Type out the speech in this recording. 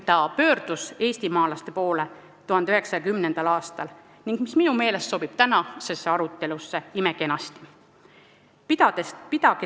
Ta pöördus eestimaalaste poole 1910. aastal ja see sobib minu meelest imekenasti ka tänasesse arutelusse: "Pidage tervisest lugu!